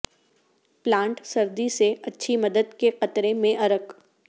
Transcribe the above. plant سردی سے اچھی مدد کے قطرے میں ارک